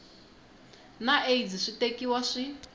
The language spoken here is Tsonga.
na aids swi tekiwa swi